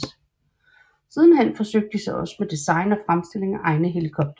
Sidenhen forsøgte de sig også selv med design og fremstilling af egne helikoptere